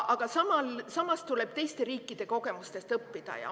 Aga samas tuleb teiste riikide kogemustest õppida.